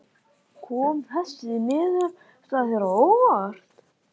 Kom þessi niðurstaða þér á óvart?